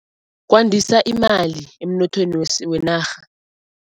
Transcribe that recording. Kwandisa imali emnothweni wenarha.